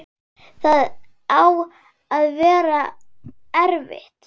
Það á að vera erfitt.